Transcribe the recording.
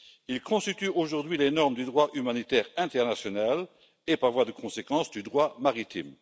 Ils constituent aujourd'hui les normes du droit humanitaire international et, par voie de conséquence, du droit maritime.